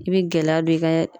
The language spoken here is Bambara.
I be gɛlɛya don i ka